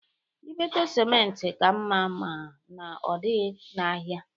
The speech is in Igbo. Ibeto simenti ka mma ma na ọdịghị n'ahịa.